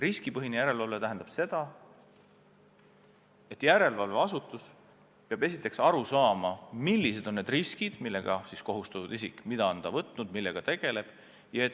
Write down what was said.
Riskipõhine järelevalve tähendab seda, et järelevalveasutus peab aru saama, millised on riskid, millega kohustatud isik arvestama peab.